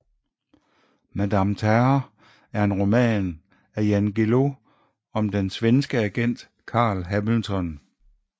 Madame Terror er en roman af Jan Guillou om den svenske agent Carl Hamilton